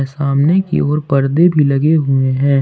सामने की ओर पर्दे भी लगे हुए हैं।